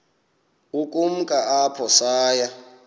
ukumka apho saya